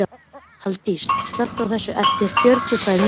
Halldís, slökktu á þessu eftir fjörutíu og tvær mínútur.